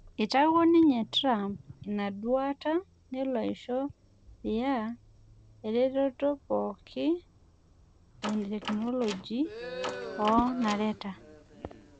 Eitawuo ninye Tirump ina duata nelo aisho Riyaadh ereteto pookin etekinoloji oo nareta